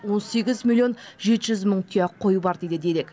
он сегіз миллион жеті жүз мың тұяқ қой бар дейді дерек